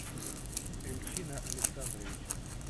эльчина александровича